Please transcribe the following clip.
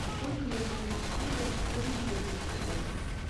сколько я получу фунтов стерлингов за сто батов